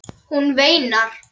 Hún veinar.